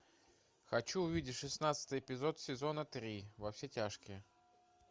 хочу увидеть шестнадцатый эпизод сезона три во все тяжкие